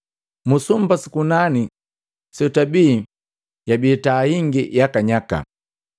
Mu sumba su kunani setwabi yabii taa hingi yakanyaka.